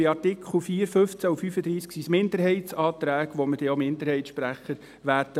Bei den Artikeln 4, 15 und 35 sind es Minderheitsanträge, zu denen wir auch Minderheitssprecher haben werden.